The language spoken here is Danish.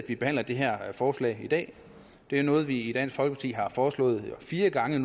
vi behandler det her forslag i dag det er noget vi i dansk folkeparti har foreslået fire gange